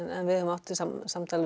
en við höfum átt samtöl við